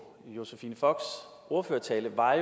josephine focks ordførertale var